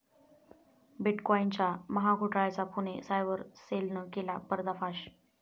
बिटकॉईनच्या महाघोटाळ्याचा पुणे सायबर सेलनं केला पर्दाफाश